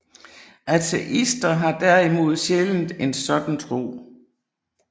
Ateister har derimod sjældent en sådan tro